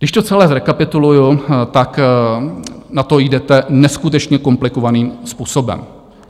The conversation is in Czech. Když to celé zrekapituluji, tak na to jdete neskutečně komplikovaným způsobem.